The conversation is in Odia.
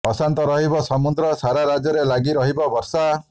ଅଶାନ୍ତ ରହିବ ସମୁଦ୍ର ସାରା ରାଜ୍ୟରେ ଲାଗି ରହିବ ବର୍ଷା